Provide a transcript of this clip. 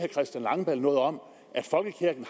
christian langballe noget om at folkekirken